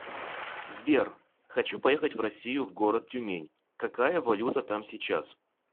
сбер хочу поехать в россию в город тюмень какая валюта там сейчас